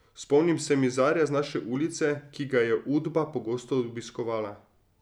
Spomnim se mizarja z naše ulice, ki ga je Udba pogosto obiskovala.